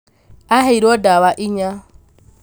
aheirwo ndawa inya